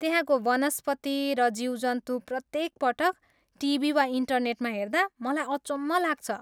त्यहाँको वनस्पति र जीवजन्तु प्रत्येक पटक टिभी वा इन्टरनेटमा हेर्दा मलाई अचम्भ लाग्छ।